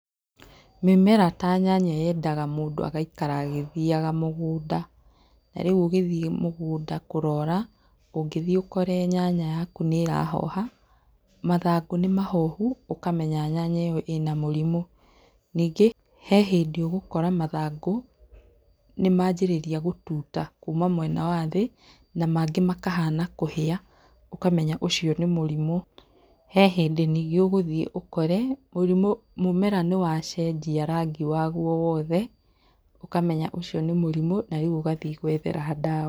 Mĩmera ta nyanya yendaga mũndũ agaikara agĩthiaga mũgũnda, na rĩu ũgĩthiĩ mũgũnda kũrora ũngĩthiĩ ũkore nyanya yaku nĩ ĩrahoha, mathangũ nĩ mahohu ũkamenya nyanya ĩyo ĩna mũrimũ. Ningĩ he hĩndĩ ũgũkora mathangũ nĩ manjĩrĩria gũtuta kuuma mwena wa thĩ na mangĩ makahana kũhĩa, ũkamenya ũcio nĩ mũrimũ. He hĩndĩ ningĩ ũgũthiĩ ũkore mũrimũ, mũmera nĩwacenjia rangi waguo wothe, ũkamenya ũcio nĩ mũrimũ na rĩu ũgathiĩ gwethera ndawa